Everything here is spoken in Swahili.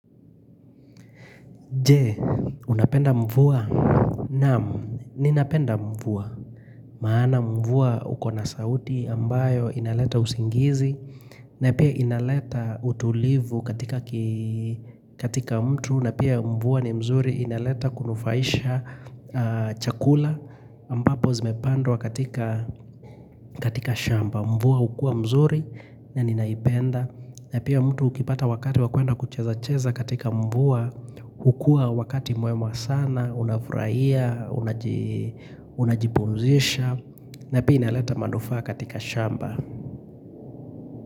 Je, unapenda mvua? Naam, ninapenda mvua. Maana mvua ukona sauti ambayo inaleta usingizi. Na pia inaleta utulivu katika ki katika mtu. Na pia mvua ni mzuri inaleta kunufaisha chakula. Ambapo zimepandwa katika katika shamba. Mvua hukuwa mzuri na ninaipenda. Na pia mtu ukipata wakati wa kwenda kucheza cheza katika mvua. Hukua wakati mwemwa sana, unafurahia, unajipumzisha na pia inaleta manufaa katika shamba.